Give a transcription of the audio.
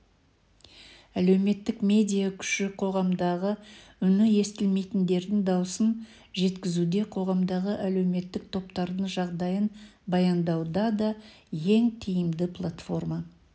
әлеуметтік медиа күші қоғамдағы үні естілмейтіндердің дауысын жеткізуде қоғамдағы әлеуметтік топтардың жағдайын баяндауда ең тиімді платформа